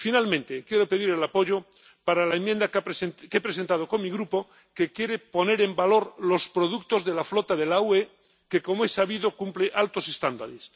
Finalmente, quiero pedir el apoyo para la enmienda que he presentado con mi Grupo, que quiere poner en valor los productos de la flota de la UE que, como es sabido, cumple altos estándares.